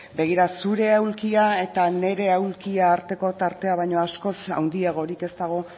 begira zure aulkia eta nire aulkia arteko tartea baino askoz handiagorik ez dago